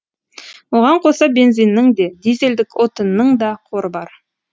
оған қоса бензиннің де дизельдік отынның да қоры бар